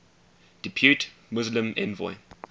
depute muslim envoy